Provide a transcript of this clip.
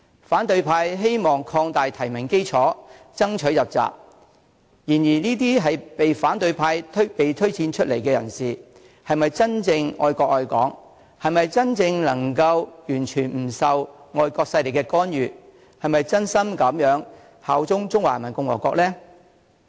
反對派希望擴大提名基礎，爭取入閘，但這些被反對派推薦出來的人士，是否真正愛國愛港、是否真正能夠完全不受外國勢力干預、是否真心效忠中華人民共和國呢？